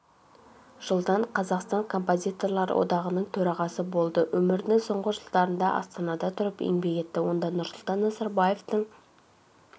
жылдан қазақстан композиторлар одағының төрағасы болды өмірінің соңғы жылдарында астанада тұрып еңбек етті онда нұрсұлтан назарбаевтың